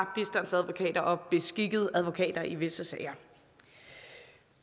og bistandsadvokater og beskikkede advokater i visse sager